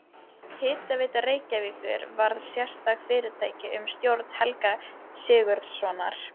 Hitaveita Reykjavíkur varð sérstakt fyrirtæki undir stjórn Helga Sigurðssonar.